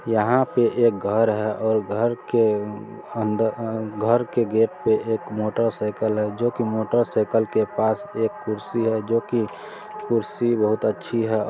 यहाँ पे एक घर हैऔर घर के अन्दर अ घर के गेट पे एक मोटर साइकिल है जो की मोटर साइकिल के पास एक कुर्सी है जो की कुर्सी बहुत अच्छी है।